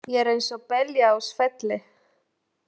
Ég er eins og belja á svelli!